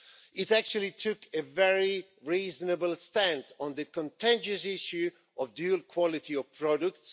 It actually took a very reasonable stance on the contentious issue of the dual quality of products.